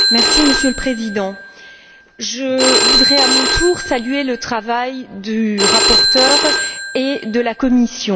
Monsieur le Président, je voudrais à mon tour saluer le travail de la rapporteure et de la Commission.